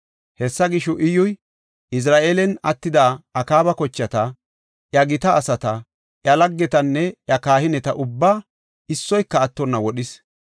Hessa gisho, Iyyuy Izra7eelan attida Akaaba kochata, iya gita asata, iya laggetanne iya kahineta ubbaa, issoyka attonna wodhis.